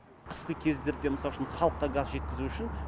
қысқы кездерде мысал үшін халыққа газ жеткізу үшін